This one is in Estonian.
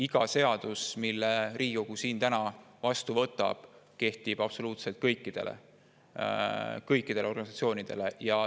Iga seadus, mille Riigikogu vastu võtab, kehtib absoluutselt kõikide organisatsioonide kohta.